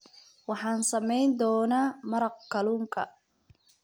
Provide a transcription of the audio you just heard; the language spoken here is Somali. Waxaan samayn doonaa maraq kalluunka.